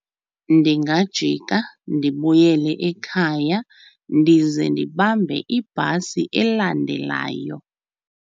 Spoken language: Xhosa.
Ndingajika ndibuyele ekhaya ndize ndibambe ibhasi elandelayo.